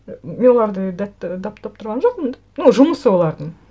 мен оларды тұрған жоқпын ну жұмысы олардың